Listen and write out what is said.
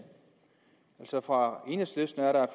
altså fra enhedslisten er der et